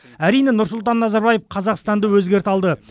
әрине нұрсұлтан назарбаев қазақстанды өзгерте алды